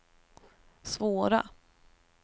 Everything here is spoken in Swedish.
svåra